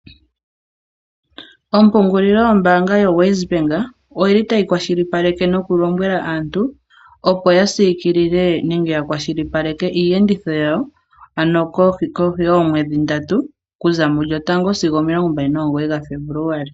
Ompungulilo yombanga yoWes Bank oyili tayi kwashilipaleke nokulombwela aantu opo ya siikilile nenge ya kwashilipaleke iiyenditho yawo ano kohi yoomwedhi ndatu ku za mu lyotango sigo omilongo mbali nomugoyi gaFebuluali.